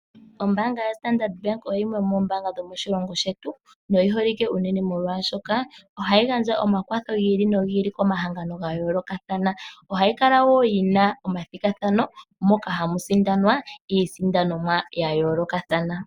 Ombaanga yoStandard Bank oyo yimwe yomoombaanga dhomoshilongo shetu noyi holike unene molwashoka ohayi gandja omakwatho gi ili nogi ili komahangano ga yoolokathana. Ohayi kala wo yi na omathigathano moka hamu sindanwa iisindanomwa ya yoolokathana.